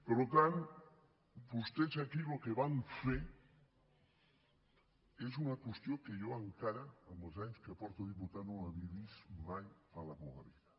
per tant vostès aquí el que van fer és una qüestió que jo encara amb els anys que porto de diputat no havia vist mai a la meua vida